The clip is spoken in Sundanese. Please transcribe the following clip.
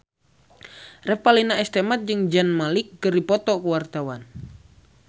Revalina S. Temat jeung Zayn Malik keur dipoto ku wartawan